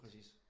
Præcist